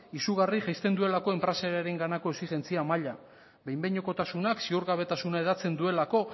izugarri jaisten duelako enpresarenganako exijentzia maila behinekotasunak ziurgabetasuna hedatzen duelako